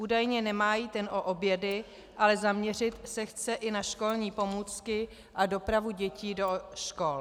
Údajně nemá jít jen o obědy, ale zaměřit se chce i na školní pomůcky a dopravu dětí do škol.